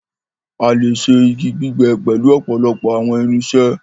a lẹ ṣe ígi gbígbé pẹlu òpòlopò àwọn irinṣẹ́.